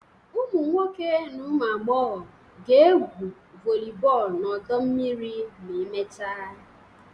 Ụmụ nwoke na ụmụ agbọghọ ga-egwu volleyball na ọdọ mmiri ma emechaa